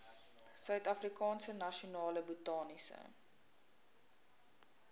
suidafrikaanse nasionale botaniese